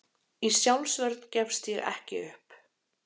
Í sjálfsvörn gefst ég upp.